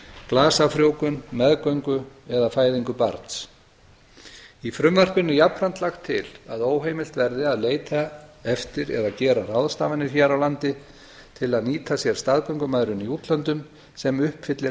glasafrjóvgun meðgöngu eða fæðingu barns í frumvarpinu er jafnframt lagt til að óheimilt verði að leita eftir eða gera ráðstafanir hér á landi til að nýta sér staðgöngumæðrun í útlöndum sem uppfyllir